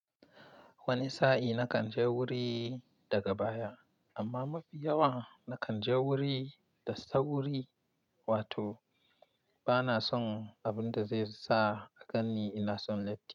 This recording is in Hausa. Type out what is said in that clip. Wani sa'i na kan je wuri daga baya, amma mafi yawa na kan je wuri da sauri, wato ba na son abin da zai sa a ganni ina son late.